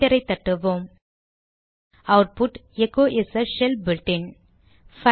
என்டரை தட்டுவோம் output echo is a shell built-in